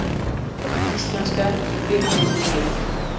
Ef ég heyri mann segja já veit ég ekkert endilega hvers hann var spurður.